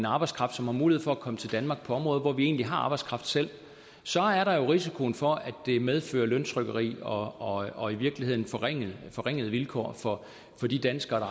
arbejdskraft som har mulighed for at komme til danmark på områder hvor vi egentlig har arbejdskraft selv så er der jo en risiko for at det medfører løntrykkeri og og i virkeligheden forringede forringede vilkår for de danskere